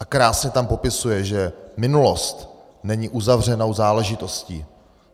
A krásně tam popisuje, že minulost není uzavřenou záležitostí.